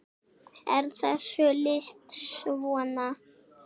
er þessu lýst svona